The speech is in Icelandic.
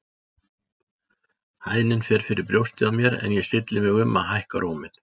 Hæðnin fer fyrir brjóstið á mér en ég stilli mig um að hækka róminn.